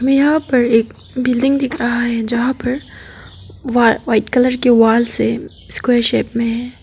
यहां पर एक बिल्डिंग दिख रहा है जहां पर वा व्हाइट कलर के वॉल से स्क्वायर शेप में है।